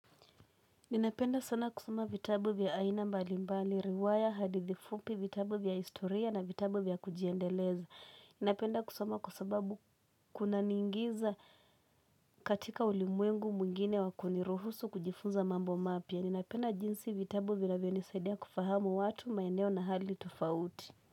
Ninapenda sana kusoma vitabu vya aina mbali mbali, riwaya, hadithi fupi, vitabu vya historia na vitabu vya kujiendeleza Ninapenda kusama kwa sababu kuna niingiza katika ulimwengu mwingine wa kuniruhusu kujifunza mambo mapya Ninapenda jinsi vitabu vinavyo nisaidia kufahamu watu, maeneo na hali tufauti.